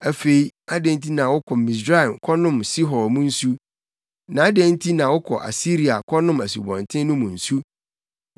Afei adɛn nti na wokɔ Misraim kɔnom Sihor mu nsu? Na adɛn nti na wokɔ Asiria kɔnom Asubɔnten no mu nsu?